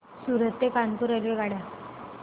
सूरत ते कानपुर रेल्वेगाड्या